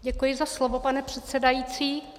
Děkuji za slovo, pane předsedající.